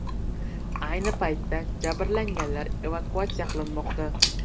Ayni paytda jabrlanganlar evakuatsiya qilinmoqda.